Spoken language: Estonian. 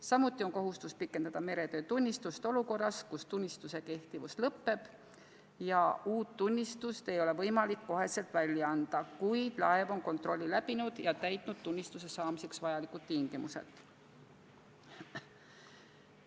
Samuti on kohustus pikendada meretöötunnistust olukorras, kus tunnistuse kehtivus lõppeb ja uut tunnistust ei ole võimalik kohe välja anda, kuid laev on kontrolli läbinud ja täitnud tunnistuse saamiseks vajalikud tingimused.